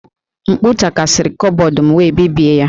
M̀kpú takasịrị kọbọd m wee bibie ya